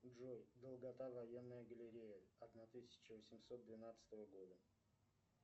джой долгота военная галерея одна тысяча восемьсот двенадцатого года